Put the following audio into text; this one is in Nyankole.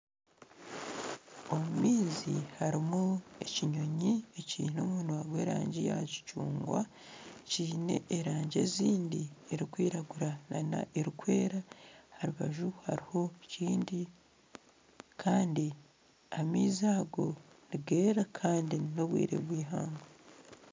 Omu maizi harimu ekinyonyi ekiine omunwa gw'erangi ya kicungwa kiine erangi ezindi erikwiragura nana erikwera aha rubaju hariho ekindi kandi amaizi ago nigeera kandi nobwire bw'eihangwe.